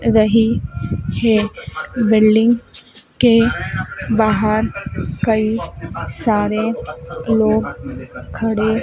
रही है बिल्डिंग के बाहर कई सारे लोग खड़े--